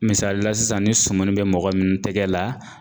Misali la sisan ni sumuni bɛ mɔgɔ min tɛgɛ la